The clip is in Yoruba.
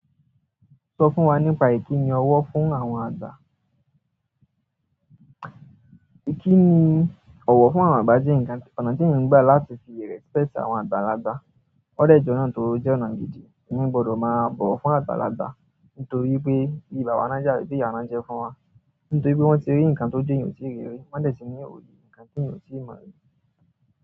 Sọ fún wa nípa ìkíni ọwọ́ fún àwọn àgbà. Kíni ọ̀wọ̀ fún àwọn àgbà jẹ́ ǹkan, ọ̀nà tí èèyàn gbà láti fi respect àwọn àgbàlagbà. Ó dẹ jẹ́ ọ̀nà tó jẹ́ ọ̀nà gidi. Èèyàn gbọdọ̀ máa bọ̀wọ̀ fún àgbàlagbà nítorí wipé bí bàbá náà jẹ́, bí ìyá náà jẹ́ fún wa. Nítorí pé wọ́n ti rí nǹkan tọ́jú eeyan o ti rí rí, wọ́n dẹ̀ ti ní òye nǹkan tí èèyàn ò tíì mọ̀ rí.